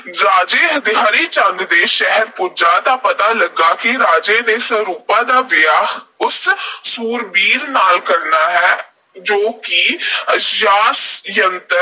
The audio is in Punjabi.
ਰਾਜੇ ਹਰੀ ਚੰਦ ਦੇ ਸ਼ਹਿਰ ਪੁੱਜਾ, ਤਾਂ ਪਤਾ ਲੱਗਾ ਕਿ ਰਾਜੇ ਨੇ ਸਰੂਪਾਂ ਦਾ ਵਿਆਹ ਉਸ ਸੂਰਬੀਰ ਨਾਲ ਕਰਨਾ ਹੈ, ਜੋ ਕਿ ਖ਼ਾਸ ਯੰਤਰ